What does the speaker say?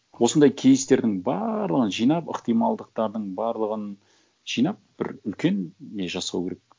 осындай кейстердің барлығын жинап ықтималдықтардың барлығын жинап бір үлкен не жасау керек